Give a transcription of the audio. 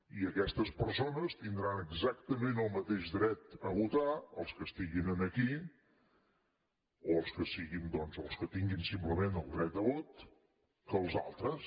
i aquestes persones tindran exactament el mateix dret a votar els que estiguin aquí o els que tinguin simplement el dret a vot que els altres